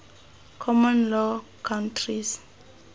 common law countries